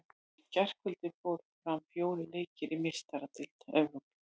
Í gærkvöldi fóru fram fjórir leikir í Meistaradeild Evrópu.